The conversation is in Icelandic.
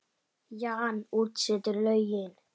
Jan útsetur lögin.